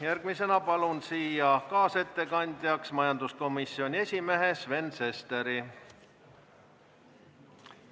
Järgmisena palun kaasettekandjaks majanduskomisjoni esimehe Sven Sesteri.